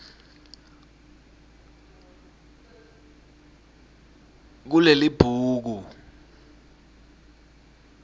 kulelibhuku